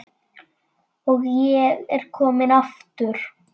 Og ég er kominn aftur!